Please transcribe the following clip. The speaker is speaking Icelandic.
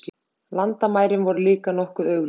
Landamærin voru líka nokkuð augljós.